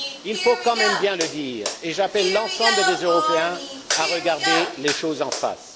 Il faut quand même bien le dire, et j'appelle l'ensemble des Européens à regarder les choses en face.